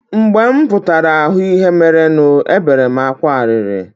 Mgbe m pụtara hụ ihe merenu, ebere m akwa arịrị.